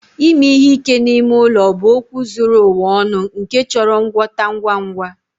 Ime ihe ike n'ime ụlọ bụ okwu zuru ụwa ọnụ nke chọrọ ngwọta ngwa ngwa.